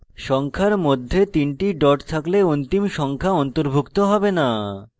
সংখ্যার মধ্যে 3 the dot থাকলে অন্তিম সংখ্যা অন্তর্ভুক্ত have the